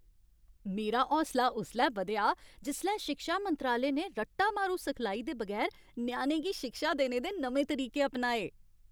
मेरा हौसला उसलै बधेआ जिसलै शिक्षा मंत्रालय ने रट्टा मारू सखलाई दे बगैर ञ्याणें गी शिक्षा देने दे नमें तरीके अपनाए।